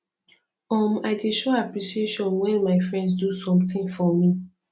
um i dey show appreciation wen my friends do sometin for me